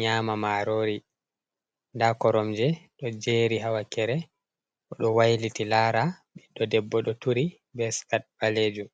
nyama marori nda korom je ɗo jeri ha wakere, o do wailiti lara ɓeɗɗo debbo ɗo turi be scat ɓalejum.